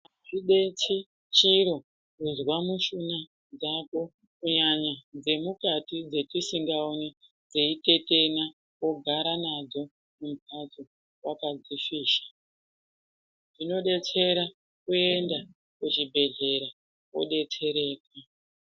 Azvidetseri chiro kuzwa mushuna dzako kunyañya dzemukati dzetidingaoni dzeitetena wogara nadzo mumhatso wakadzifisha zvinodetsera kuenda kuchibhedhlera wodetsereka.